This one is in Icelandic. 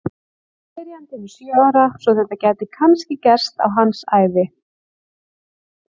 Spyrjandinn er sjö ára svo að þetta gæti kannski gerst á hans ævi!